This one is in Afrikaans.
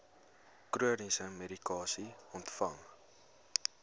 chroniese medikasie ontvang